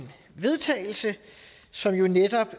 vedtagelse som jo netop